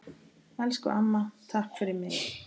Elsku amma, takk fyrir mig.